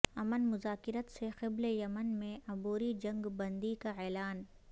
امن مذاکرت سے قبل یمن میں عبوری جنگ بندی کا اعلان